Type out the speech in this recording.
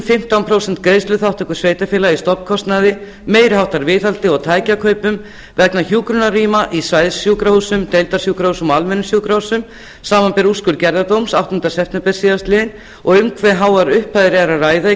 fimmtán prósent greiðsluþátttöku sveitarfélaga í stofnkostnaði meiri háttar viðhaldi og tækjakaupum vegna hjúkrunarrýma í svæðissjúkrahúsum deildarsjúkrahúsum og almennum sjúkrahúsum samanber úrskurð gerðardóms áttunda september síðastliðinn og um hve háar upphæðir er um að ræða í